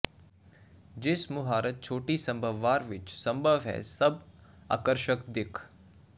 ਜਿਸ ਮੁਹਾਰਤ ਛੋਟੀ ਸੰਭਵ ਵਾਰ ਵਿੱਚ ਸੰਭਵ ਹੈ ਸਭ ਆਕਰਸ਼ਕ ਦਿੱਖ